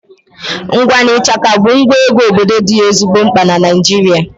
Ịgba na ịshaka bụ ngwa egwu obodo dị ezigbo mkpa na Naịjirịa